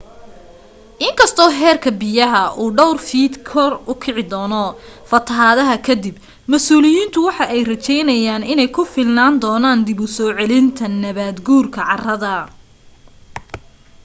inkasto heerka biyaha uu dhowr fiit kor ukici doocno fatahaada kadib masuuliyiinta waxa ay raajeynayaan in ay ku filnaan doonan dib usoo celinta nabaad guurki carada